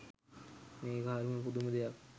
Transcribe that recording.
මේක හරිම පුදුම දෙයක්.